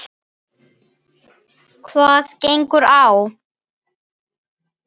Hvað gengur á?